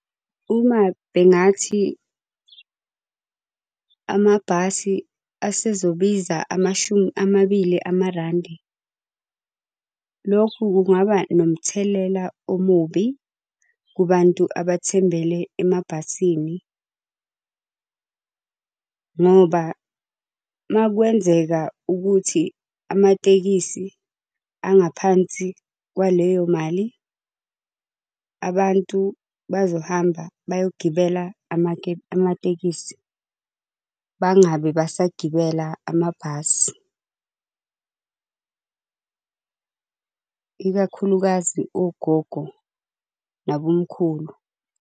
Uma bengathi, amabhasi asezobiza amashumi amabili amarandi. Lokhu kungaba nomthelela omubi kubantu abathembele emabhasini. Ngoba makwenzeka ukuthi amatekisi angaphansi kwaleyo mali, abantu bazohamba bayogibela amatekisi, bangabe basagibela amabhasi , ikakhulukazi ogogo, nabomkhulu.